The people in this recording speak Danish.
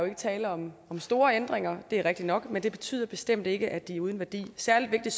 er tale om store ændringer det er rigtigt nok men det betyder bestemt ikke at de er uden værdi særlig vigtigt